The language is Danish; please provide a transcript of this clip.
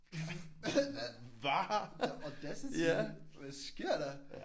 Hvad? The audacity hvad sker der?